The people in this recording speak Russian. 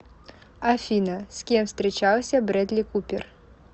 афина с кем встречался брэдли купер